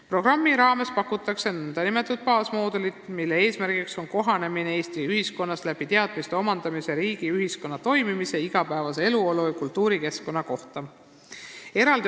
Programmi raames pakutakse nn baasmoodulit, mille eesmärk on aidata sisserändajatel Eesti ühiskonnas kohaneda, omandades teadmisi riigi ja ühiskonna toimimise, igapäevase eluolu ja kultuurikeskkonna kohta.